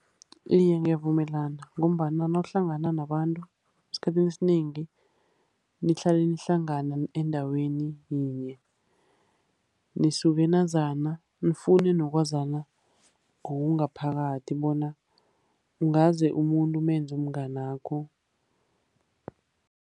Iye, ngiyavumelana. Ngombana nawuhlangana nabantu esikhathini esinengi, nihlale nihlangana endaweni yinye, nisuke nazana nifune nokwazana ngokungaphakathi bona ungaze umuntu kumenze umnganakho.